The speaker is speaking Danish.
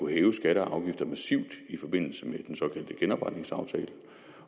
hævede skatter og afgifter massivt i forbindelse med den såkaldte genopretningsaftale